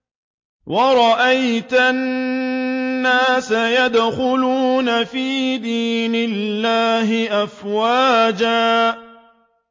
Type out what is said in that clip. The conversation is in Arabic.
وَرَأَيْتَ النَّاسَ يَدْخُلُونَ فِي دِينِ اللَّهِ أَفْوَاجًا